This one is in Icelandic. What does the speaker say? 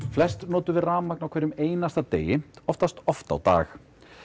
flestir nota rafmagn á hverjum einasta degi oftast oft á dag